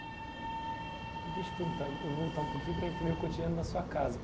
Deixa eu perguntar, eu vou voltar um pouquinho para entender o cotidiano da sua casa.